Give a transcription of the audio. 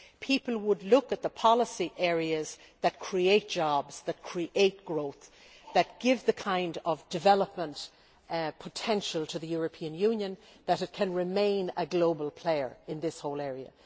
people would look at the policy areas that create jobs, that create growth and that give the kind of development potential to the European Union that will enable it to remain a global player in this whole area.